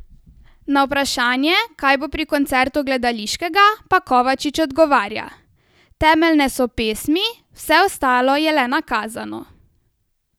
Na vprašanje, kaj bo pri koncertu gledališkega, pa Kovačič odgovarja: 'Temeljne so pesmi, vse ostalo je le nakazano.